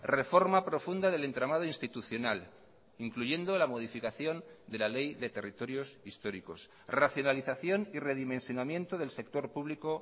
reforma profunda del entramado institucional incluyendo la modificación de la ley de territorios históricos racionalización y redimensionamiento del sector público